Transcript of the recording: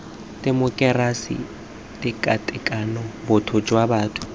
temokerasi tekatekano botho jwa batho